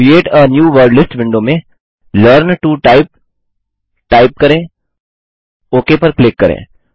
create a new word list window में learn to type type करें okay पर click करें